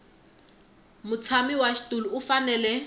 mutshami wa xitulu u fanele